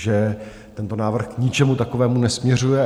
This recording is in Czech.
Že tento návrh k ničemu takovému nesměřuje.